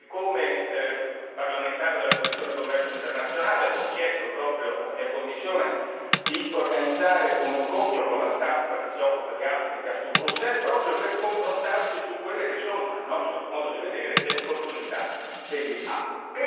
Devo dire che come parlamentare della commissione per il commercio internazionale, ho chiesto proprio alla mia commissione, di organizzare un incontro con la stampa che si occupa di Africa su Bruxelles, proprio per confrontarsi su quelle che sono, a nostro modo di vedere, le opportunità degli APE.